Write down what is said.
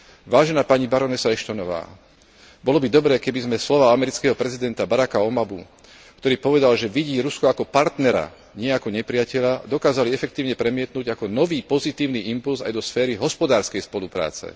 Vážená pani barónka Ashton, bolo by dobré, keby sme slová amerického prezidenta Baracka Obamu, ktorý povedal, že vidí Rusko ako partnera, nie ako nepriateľa, dokázali efektívne premietnuť ako nový pozitívny impulz aj do sféry hospodárskej spolupráce.